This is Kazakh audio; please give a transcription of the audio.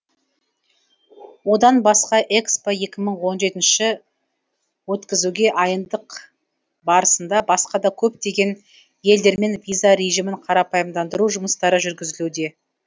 одан басқа экспо екі мың он жетінші өткізуге айындық барысында басқа да көптеген елдермен виза режимін қарапайымдандыру жұмыстары жүргізілуде